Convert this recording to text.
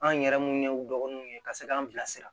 An yɛrɛ munnu ye u dɔgɔninw ye ka se k'an bilasira